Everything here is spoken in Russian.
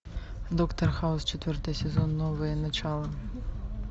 доктор хаус четвертый сезон новое начало